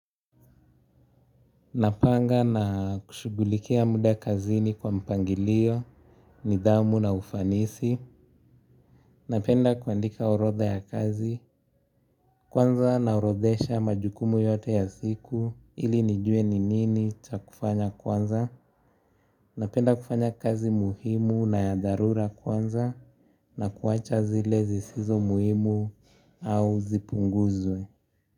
Napanga na kushughulikia mda kazini kwa mpangilio, nidhamu na ufanisi, napenda kuandika urodha ya kazi, kwanza naorodhesha majukumu yote ya siku ili nijue ni nini cha kufanya kwanza, napenda kufanya kazi muhimu na ya dharura kwanza na kuwacha zile zisizo muhimu au zipunguzwe.